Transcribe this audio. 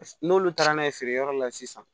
N'olu taara n'a ye feere yɔrɔ la sisan